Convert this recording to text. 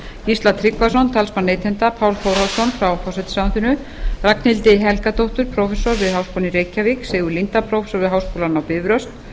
gísla tryggvason talsmann neytenda pál þórhallsson frá forsætisráðuneyti ragnhildi helgadóttur prófessor við háskólann í reykjavík sigurð líndal prófessor við háskólann á bifröst